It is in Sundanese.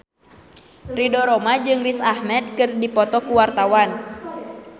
Ridho Roma jeung Riz Ahmed keur dipoto ku wartawan